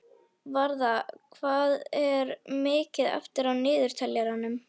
Varða, hvað er mikið eftir af niðurteljaranum?